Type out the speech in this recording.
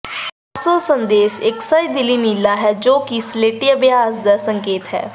offshore ਸੰਦੇਸ਼ ਇੱਕ ਸੰਜੀਦਲੀ ਨੀਲਾ ਹੈ ਜੋ ਕਿ ਸਲੇਟੀ ਅਭਿਆਸ ਦੇ ਸੰਕੇਤ ਹੈ